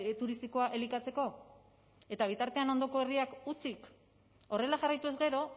turistikoa elikatzeko eta bitartean ondoko herriak hutsik horrela jarraituz gero